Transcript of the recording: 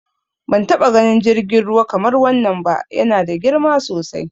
Ban taɓa ganin jirgin ruwa kamar wannan ba, ya na da girma sosai.